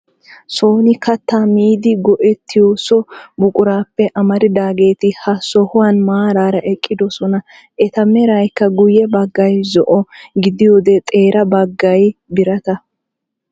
Sooni kattaa miiddi go"ettiyoo so buquraappe amaridaageti ha sohuwaa maraara eqqidoosona. eta meraykka guyye baggay zo"o gidiyoode xeera baggay birata.